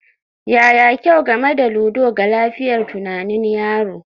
Yaya kyau game da ludo ga lafiyar tunanin yaro?